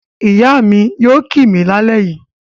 Ìyá mi yóò kì mí lálẹ́ yìí.